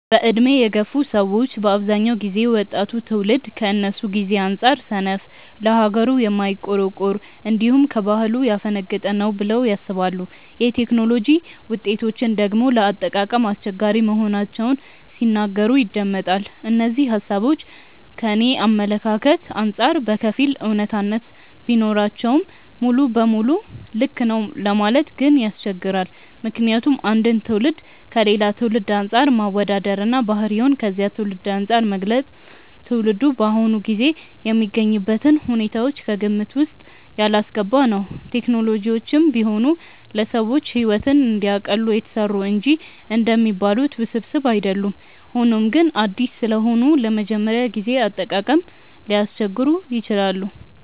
በዕድሜ የገፉ ሰዎች በአብዛኛው ጊዜ ወጣቱ ትውልድ ከነሱ ጊዜ አንጻር ሰነፍ፣ ለሀገሩ የማይቆረቆር፣ እንዲሁም ከባህሉ ያፈነገጠ ነው ብለው ያስባሉ። የቴክኖሎጂ ውጤቶችን ደግሞ ለአጠቃቀም አስቸጋሪ መሆናቸውን ሲናገሩ ይደመጣል። እነዚህ ሃሳቦች ከኔ አመለካከት አንጻር በከፊል አውነታነት ቢኖራቸውም ሙሉ ለሙሉ ልክ ነው ለማለት ግን ያስቸግራል። ምክንያቱም አንድን ትውልድ ከሌላ ትውልድ አንፃር ማወዳደር እና ባህሪውን ከዚያ ትውልድ አንፃር መግለጽ ትውልዱ በአሁኑ ጊዜ የሚገኝበትን ሁኔታዎች ከግምት ውስጥ ያላስገባ ነው። ቴክኖሎጂዎችም ቢሆኑ ለሰዎች ሕይወትን እንዲያቀሉ የተሰሩ እንጂ እንደሚባሉት ውስብስብ አይደሉም። ሆኖም ግን አዲስ ስለሆኑ ለመጀመሪያ ጊዜ አጠቃቀም ሊያስቸግሩ ይችላሉ።